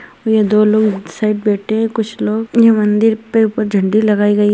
ये दो लोग उस साइक बैठे है कुच्छ लोग ये मंदिर पे झंडे लगाई गई --